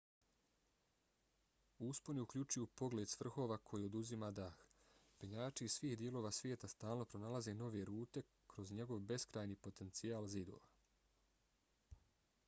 usponi uključuju pogled s vrhova koji oduzima dah. penjači iz svih dijelova svijeta stalno pronalaze nove rute kroz njegov beskrajni potencijal zidova